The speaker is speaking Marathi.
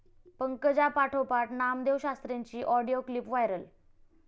पंकजांपाठोपाठ नामदेवशास्त्रींची ऑडिओ क्लीप व्हायरल